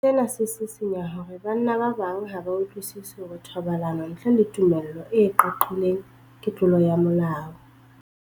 Sena se sisinya hore banna ba bang ha ba utlwisisi hore thobalano ntle le tumello e qaqileng ke tlolo ya molao.